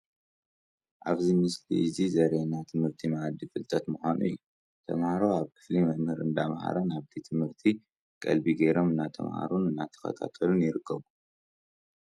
ኣብዚ ምስሊ እዚ ዘሪኤና ትምህርቲ ማኣዲ ፍልጠት ምዃኑ እዩ፡፡ ተምሃሮ ኣብ ክፍሊ መምህር እንዳምሃረ ናብቲ ትምህርቲ ቀልቢ ገይሮም እንዳተማሃሩን እንዳተኸታተሉን ይርከቡ፡፡